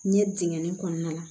N ye dingɛn kɔnɔna la